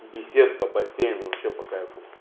беседка бассейн вообще по кайфу